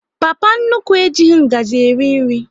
Papa nnukwu e jighị ngazi eri nri